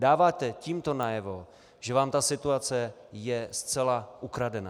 Dáváte tímto najevo, že vám ta situace je zcela ukradená!